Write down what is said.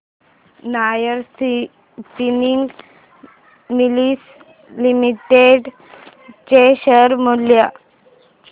Nahar spinning mills limited चे share मूल्य